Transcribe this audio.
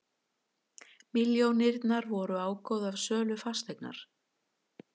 Milljónirnar voru ágóði af sölu fasteignar